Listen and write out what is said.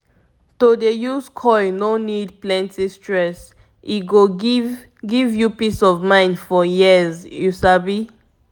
to dey use coil no need plenty stress e go give give you peace of mind for years you sabi.